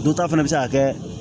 Dɔ ta fana bɛ se ka kɛ